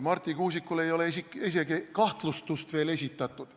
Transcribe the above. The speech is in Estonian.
Marti Kuusikule ei ole isegi kahtlustust veel esitatud.